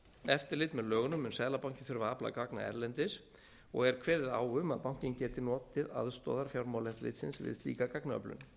eftirlit með lögunum mun seðlabankinn þurfa að afla gagna erlendis og er kveðið á um að bankinn geti notið aðstoðar fjármálaeftirlitsins við slíka gagnaöflun